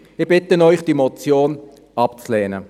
Ich bitte Sie, diese Motion abzulehnen.